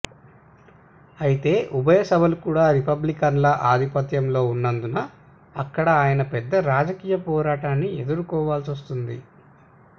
అయితే ఉభయ సభలు కూడా రిపబ్లికన్ల ఆధిపత్యంలో వున్నందున అక్కడ ఆయన పెద్ద రాజకీయ పోరాటాన్ని ఎదుర్కొనాల్సివస్తోంది